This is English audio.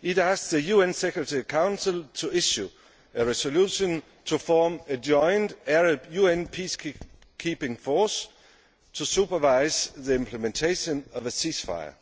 It asked the UN Security Council to issue a resolution to form a joint Arab UN peacekeeping force to supervise the implementation of a ceasefire.